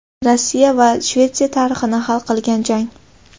Rossiya va Shvetsiya tarixini hal qilgan jang.